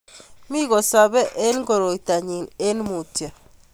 Mi kosopei eng koroitonyi eng mutyo